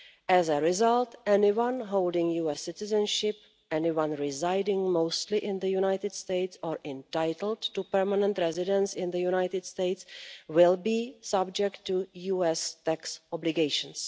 As a result, anyone holding US citizenship, anyone residing mostly in the United States or entitled to permanent residence in the United States will be subject to US tax obligations.